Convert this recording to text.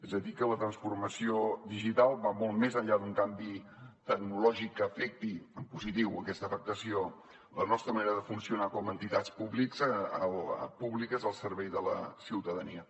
és a dir que la transformació digital va molt més enllà d’un canvi tecnològic que afecti en positiu aquesta afectació la nostra manera de funcionar com a entitats públiques al servei de la ciutadania